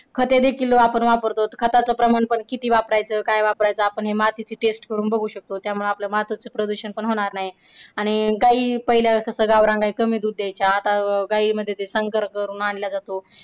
खाते तीतील वापर तो खात्याचा वापर प्रमाण पण किती वापरायचं काय वापरायचं आपण हे मातीची टेस्ट करून बघू शकतो त्यामुळे आपल्या मातीचा पण प्रदूषण होणार नाही. आणि गाई पहिल्या कसं गावरान कमी दूध द्यायच्या पण आता गाई मध्ये ते करून आणलं जातो.